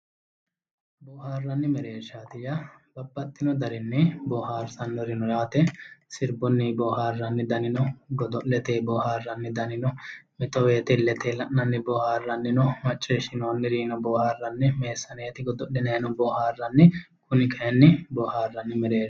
boohaarranni mereershaati yaa babbaxino daninni boohaarsannori no yaate sirbunni boohaarranni dani no godo'letenni boohaarranni dani no mito wote illetenni la'nanni boohaarranni dani no macciishshinoonnirinnino boohaarranni meessaneeti godo'linannino boohaarranni kuni kayinni boohaarranni mereershaati.